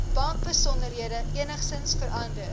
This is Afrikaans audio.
bankbesonderhede enigsins verander